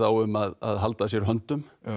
um að halda að sér höndum